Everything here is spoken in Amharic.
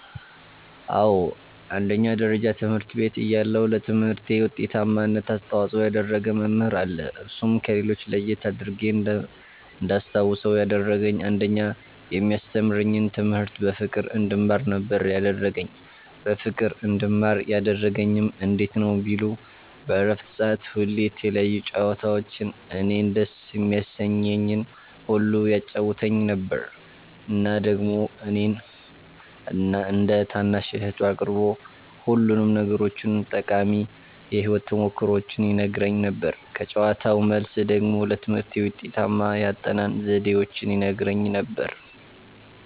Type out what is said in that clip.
አዎ አንደኛ ደረጃ ትምህርት ቤት እያለሁ ለትምህርቴ ዉጤታማነት አስተዋፅኦ ያደረገ መምህር አለ እርሱም ከሌሎች ለየት አድርጌ እንዳስታዉሰዉ ያደረገኝ አንደኛ የሚያስተምረኝን ትምህርት በፍቅር እንድማር ነበረ ያደረገኝ በፍቅር እንድማር ያደረገኝም እንዴት ነዉ ቢሉ በረፍት ሰዓት ሁሌ የተለያዩ ጨዋታዎችን እኔን ደስ የሚያሰኘኝን ሁሉ ያጫዉተኝ ነበረ እና ደግሞ እኔን እንደ ታናሽ እህቱ አቅርቦ ሁሉንም ነገሮቹን ጠቃሚ የህይወት ተሞክሮዎቹን ይነግረኝ ነበረ ከጨዋታዉ መልስ ደግሞ ለትምህርቴ ውጤታማ የአጠናን ዘዴዎችን ይነግረኝም ነበረ።